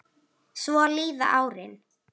Svo líða árin.